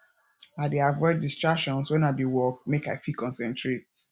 i dey avoid distractions wen i dey work make i fit concentrate